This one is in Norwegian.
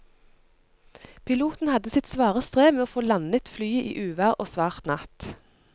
Piloten hadde sitt svare strev med å få landet flyet i uvær og svart natt.